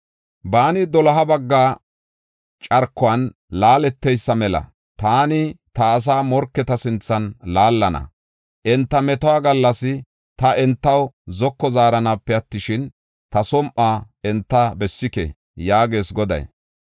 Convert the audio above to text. Baani doloha bagga carkuwan laaleteysa mela, taani ta asaa morketa sinthan laallana. Enta metuwa gallas ta entaw zoko zaaranaape attishin, ta som7uwa enta bessike” yaagees Goday.